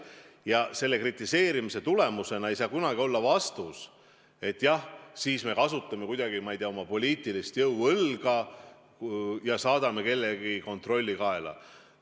Ja selle kritiseerimise tagajärg ei tohi kunagi olla reageering, et siis me kasutame kuidagi, ma ei tea, oma poliitilist jõuõlga ja saadame kellelegi kontrolli kaela.